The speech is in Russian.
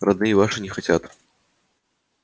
родные ваши не хотят